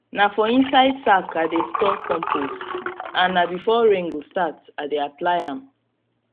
na for inside sack i dey store compost and na before rain go start i dey apply am